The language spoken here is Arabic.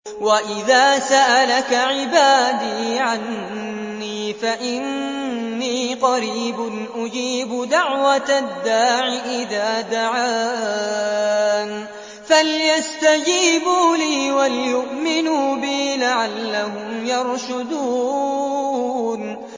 وَإِذَا سَأَلَكَ عِبَادِي عَنِّي فَإِنِّي قَرِيبٌ ۖ أُجِيبُ دَعْوَةَ الدَّاعِ إِذَا دَعَانِ ۖ فَلْيَسْتَجِيبُوا لِي وَلْيُؤْمِنُوا بِي لَعَلَّهُمْ يَرْشُدُونَ